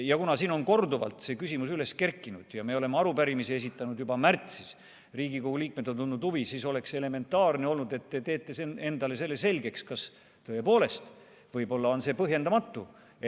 Ja kuna siin on korduvalt see küsimus üles kerkinud ja me oleme arupärimise esitanud juba märtsis, Riigikogu liikmed on tundnud huvi, siis oleks olnud elementaarne, et te teete endale selle selgeks, kas tõepoolest võib see olla põhjendamatu.